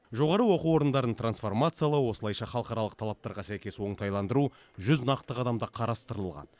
жоғары оқу орындарын трансформациялау осылайша халықаралық талаптарға сәйкес оңтайландыру жүз нақты қадамда қарастырылған